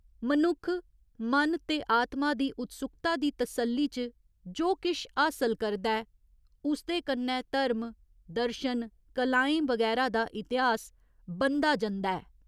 मनुक्ख मन ते आत्मा दी उत्सुक्ता दी तसल्ली च जो किश हासल करदा ऐ, उसदे कन्नै धर्म, दर्शन, कलाएं बगैरा दा इतिहास बनदा जंदा ऐ।